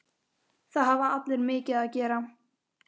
Það hafa allir mikið að gera.